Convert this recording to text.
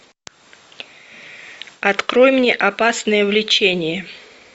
открой мне опасное влечение